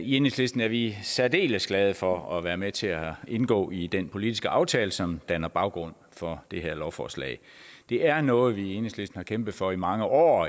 i enhedslisten er vi særdeles glade for at være med til at indgå i den politiske aftale som danner baggrund for det her lovforslag det er noget vi i enhedslisten har kæmpet for i mange år